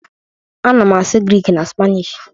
Ana m asụ Grik na Spanish